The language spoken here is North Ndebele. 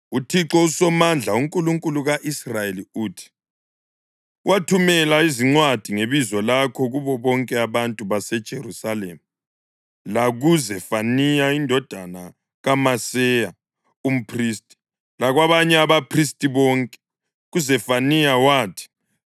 “ UThixo uSomandla, uNkulunkulu ka-Israyeli uthi: ‘Wathumela izincwadi ngebizo lakho kubo bonke abantu baseJerusalema, lakuZefaniya indodana kaMaseya umphristi, lakwabanye abaphristi bonke.’ KuZefaniya wathi,